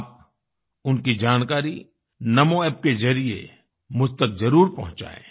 आप उनकी जानकारी नामो App के ज़रिये मुझ तक जरुर पहुँचाएँ